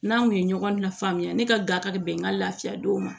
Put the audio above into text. N'an kun ye ɲɔgɔn lafaamuya ne ka gakari bɛn ka lafiya denw ma